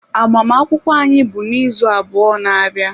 Agbamakwụkwọ anyị bụ n'izu abụọ na-abịa.